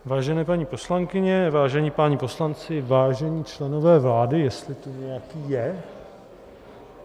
Vážené paní poslankyně, vážení páni poslanci, vážení členové vlády, jestli tady nějaký je.